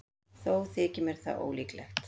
Þó þykir mér það ólíklegt.